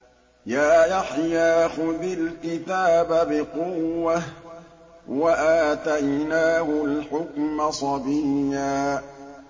يَا يَحْيَىٰ خُذِ الْكِتَابَ بِقُوَّةٍ ۖ وَآتَيْنَاهُ الْحُكْمَ صَبِيًّا